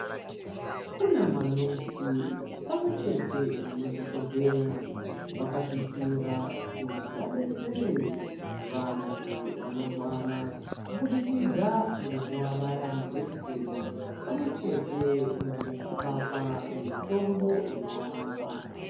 Kuna manesi pamwechete namadhogodheya vakazvipira kuti vabetsere vantu vanorwara. Kubidikidza ngekuvabaya majekiseni pamwe chete nekuvapa mitombo inovarapa.